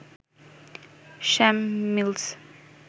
Sam mills